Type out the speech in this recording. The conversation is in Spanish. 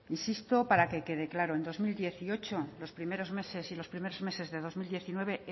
insisto para que quede claro en dos mil dieciocho los primero meses y los primeros meses de dos mil diecinueve